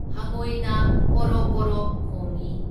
ꯍꯉꯣꯏꯅ ꯀꯣꯔꯣꯛ ꯀꯣꯔꯣꯛ ꯈꯣꯡꯢ꯫